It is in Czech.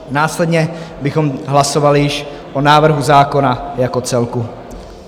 Následně bychom hlasovali již o návrhu zákona jako celku.